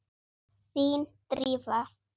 Þín, Drífa.